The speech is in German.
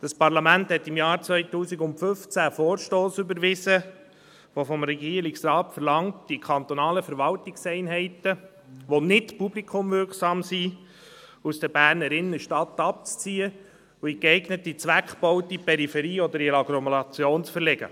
Dieses Parlament hat im Jahr 2015 einen Vorstoss überwiesen, der vom Regierungsrat verlangt, die kantonalen Verwaltungseinheiten, die nicht publikumswirksam sind, aus der Berner Innenstadt abzuziehen und in geeignete Zweckbauten in der Peripherie oder Agglomeration zu verlegen.